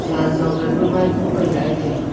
zan jogan ma maipung kaila ee taiga.